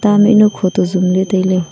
ta mihnu kho toh zumley tailey.